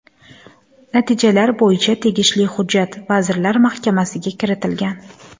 Natijalar bo‘yicha tegishli hujjat Vazirlar Mahkamasiga kiritilgan.